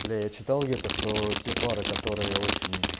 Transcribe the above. бля я читал где то что те пары которые очень